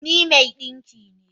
Ni mai dinki ne